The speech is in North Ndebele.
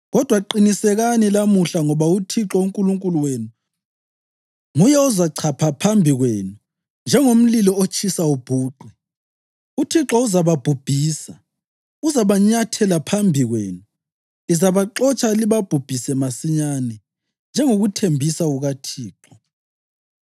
Kodwa qinisekani lamuhla ngoba uThixo uNkulunkulu wenu nguye ozachapha phambi kwenu njengomlilo otshisa ubhuqe. UThixo uzababhubhisa; uzabanyathela phambi kwenu. Lizabaxotsha libabhubhise masinyane, njengokuthembisa kukaThixo.